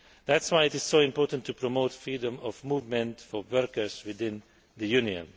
That is why it is so important to promote freedom of movement for workers within the Union.